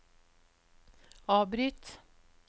avbryt